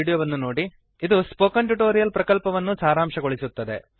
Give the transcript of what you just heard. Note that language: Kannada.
httpspoken tutorialorgWhat is a Spoken Tutorial ಅದು ಸ್ಪೋಕನ್ ಟ್ಯುಟೋರಿಯಲ್ ಪ್ರಕಲ್ಪವನ್ನು ಸಾರಾಂಶಗೊಳಿಸುತ್ತದೆ